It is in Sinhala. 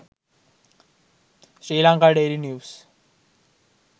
sri lanka daily news